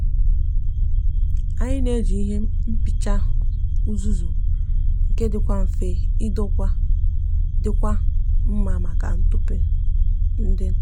anyi n'eji ihe nkpicha uzuzu nke dikwa nfe idokwa dikwa nma maka ntupu di nta